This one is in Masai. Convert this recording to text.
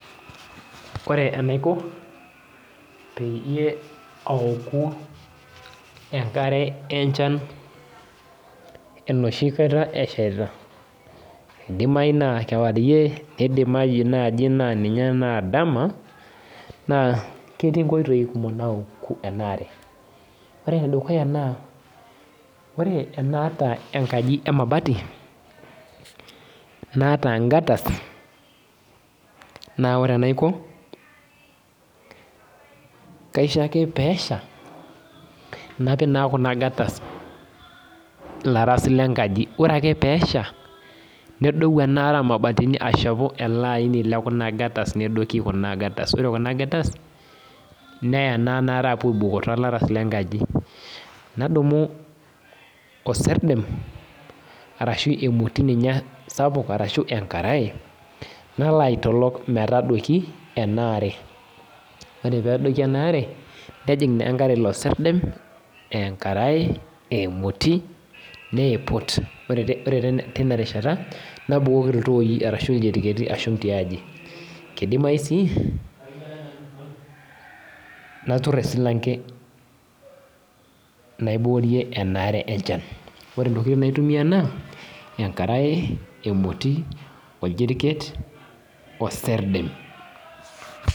Ore enaiko, peyie aoku enkare enchan enoshi kata eshaita, idimayu naa kewarie, nidimayu nai ninye naa dama, naa ketii nkoitoii kumok naoku enaare. Ore enedukuya naa, ore enaata enkaji emabati, naata gataz, na ore enaiko, kaisho ake peesha, napik naa kuna gataz ilaras lenkaji. Ore ake pesha, nedou enaare omabatini ashepu ele aini lekuna gataz nedoki kuna gataz. Ore kuna gataz, neya naa enaare apuo aibukoo tolaras lenkaji. Nadumu oserdem, arashu emoti ninye sapuk arashu enkarae, nalo aitolok metadoiki, enaare. Ore pedoki enaare, nejing' naa enkare ilo serdem, enkarae, emoti, niiput. Ore tinarishata, nabukoki iltooi arashu iljiriketi ashum tiaji. Kidimayu si, natur esilanke. Naibukorie enaare enchan. Ore intokiting naitumia naa, enkarae, emoti, orjiriket, oserdem.